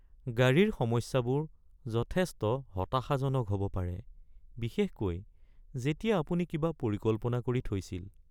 গাড়ীৰ সমস্যাবোৰ যথেষ্ট হতাশাজনক হ'ব পাৰে, বিশেষকৈ যেতিয়া আপুনি কিবা পৰিকল্পনা কৰি থৈছিল।